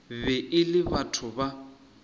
be e le batho ba